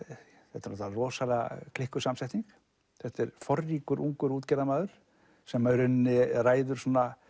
þetta er rosalega klikkuð samsetning þetta er forríkur ungur útgerðarmaður sem í rauninni ræður